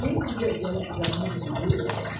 Antes dela dela ficar muito de